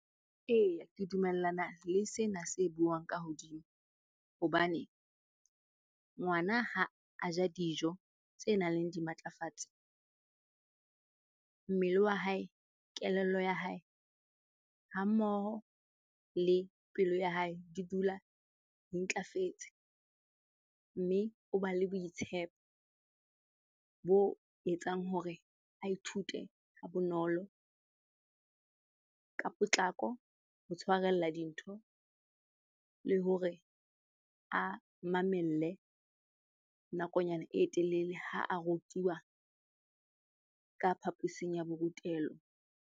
Eya, ke dumellana le sena se buang ka hodimo hobane, ngwana ha a ja dijo tse nang le dimatlafatsi mmele wa hae, kelello ya hae ha mmoho le pelo ya hae di dula di ntlafetse. Mme o ba le boitshepo bo etsang hore a ithute ha bonolo, ka potlako ho tshwarella dintho le hore a mamelle nakonyana e telele ha a rutiwa ka phaposing ya borutelo.